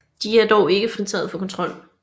De er dog ikke fritaget for kontrol